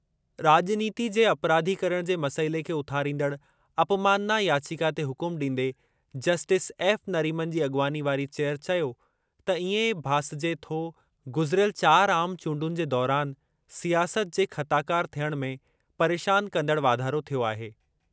राॼनीति जे अपराधीकरण जे मसइले खे उथारींदड़ अपमानना याचिका ते हुकुम ॾींदे जस्टिस एफ़ नरीमन जी अॻवानी वारी चेयर चयो त इएं भासिजे थो गुज़िरियल चार आम चूंडुनि जे दौरान सियासत जे ख़ताकार थियणु में परेशान कंदड़ वाधारो थियो आहे।